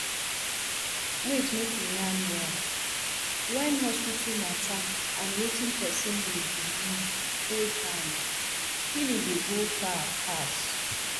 wait make we yan well when hospital matter and wetin person dey believe hold hand healing dey go far pass